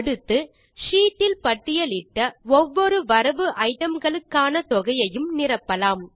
அடுத்து ஷீட் இல் பட்டியலிட்ட ஒவ்வொரு வரவு ஐடம்களுக்கான தொகையையும் நிரப்பலாம்